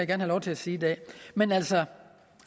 have lov til at sige i dag men altså